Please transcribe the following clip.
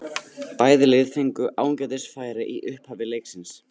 Bæði lið fengu ágætis færi í upphafi leiksins.